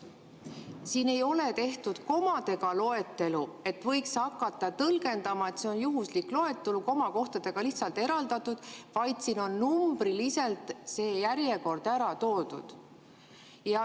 Siin ei ole tehtud komadega loetelu, et võiks hakata tõlgendama, et see on juhuslik loetelu, komadega lihtsalt eraldatud, vaid siin on numbriliselt see järjekord ära toodud.